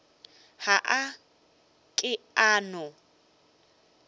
ga a ke a no